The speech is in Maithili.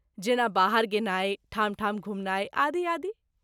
जेना बाहर गेनाय, ठाम ठाम घुमनाइ आदि आदि।